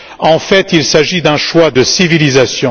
En fait, il s'agit d'un choix de civilisation.